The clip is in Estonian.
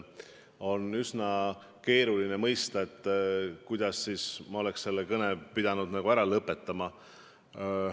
On üsna keeruline ette kujutada, kuidas ma oleks selle kõne pidanud ära lõpetama.